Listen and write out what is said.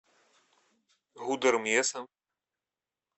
гудермесом